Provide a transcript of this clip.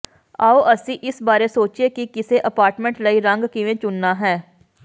ਆਉ ਅਸੀਂ ਇਸ ਬਾਰੇ ਸੋਚੀਏ ਕਿ ਕਿਸੇ ਅਪਾਰਟਮੈਂਟ ਲਈ ਰੰਗ ਕਿਵੇਂ ਚੁਣਨਾ ਹੈ